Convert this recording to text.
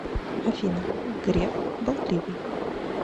афина греф болтливый